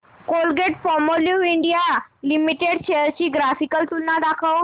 Colgate Palmolive India limited shares ची graphical तुलना दाखव